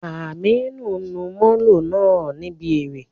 Aminu n lu Molo naa nibi ere.